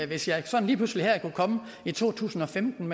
hvis jeg sådan lige pludselig her i to tusind og femten